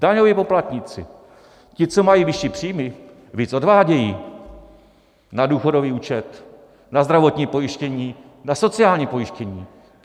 Daňoví poplatníci, ti co mají vyšší příjmy, víc odvádějí na důchodový účet, na zdravotní pojištění, na sociální pojištění.